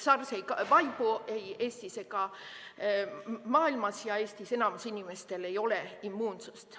SARS ei vaibu ei Eestis ega maailmas ning Eestis enamikul inimestel ei ole immuunsust.